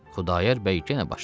Xudayar bəy yenə başladı: